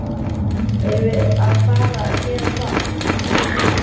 Erum við að fara að gera það?